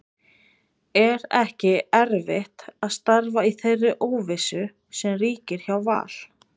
Er ekki erfitt að starfa í þeirri óvissu sem ríkir hjá Val?